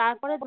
সেই